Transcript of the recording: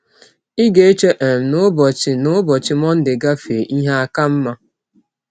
Ị ga - eche um na ụbọchị na ụbọchị Mọnde gafee, ihe aka mma.